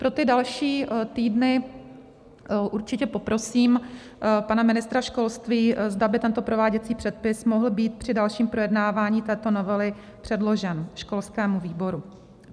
Pro ty další týdny určitě poprosím pana ministra školství, zda by tento prováděcí předpis mohl být při dalším projednávání této novely předložen školskému výboru.